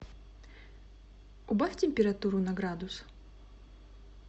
убавь температуру на градус